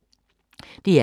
DR K